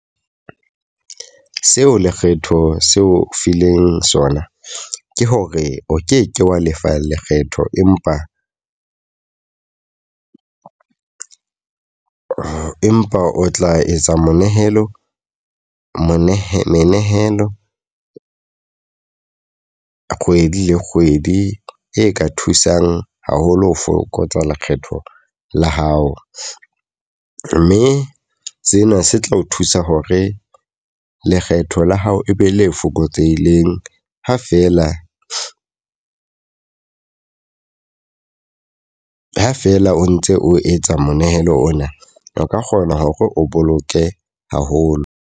Seo lekgetho seo fileng sona. Ke hore o ke ke wa lefa lekgetho empa empa o tla etsa monehelo monehelo menehelo kgwedi le kgwedi e ka thusang haholo ho fokotsa lekgetho la hao. Mme sena se tla o thusa hore lekgetho la hao e be le fokotseileng ha fela, ha fela o ntse o etsa monehelo ona. O ka kgona hore o boloke haholo.